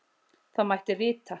Þá mætti rita: